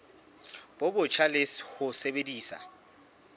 bo botjha le ho sebedisa